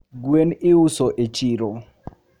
gwen iuso e chiro.